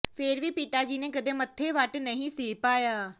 ਫਿਰ ਵੀ ਪਿਤਾ ਜੀ ਨੇ ਕਦੇ ਮੱਥੇ ਵੱਟ ਨਹੀਂ ਸੀ ਪਾਇਆ